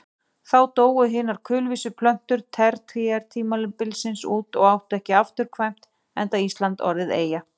Þá dóu hinar kulvísu plöntur tertíertímabilsins út og áttu ekki afturkvæmt enda Ísland orðið eyja.